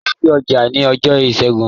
Lọ sí ọjà ní ọjọ́ Ìṣẹ́gun.